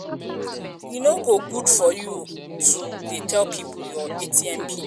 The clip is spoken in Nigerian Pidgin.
e um no good for you to um dey tell people your atm pin